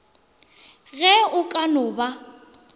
ge o ka no ba